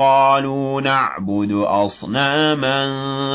قَالُوا نَعْبُدُ أَصْنَامًا